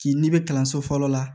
K'i n'i bɛ kalanso fɔlɔ la